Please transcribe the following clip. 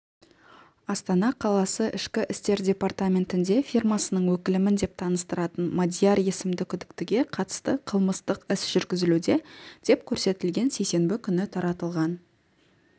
астана қаласы ішкі істер департаментінде фирмасының өкілімін деп танстыратын мадияр есімді күдіктіге қатысты қылмыстық іс жүргізілуде деп көрсетілген сейсенбі күні таратылған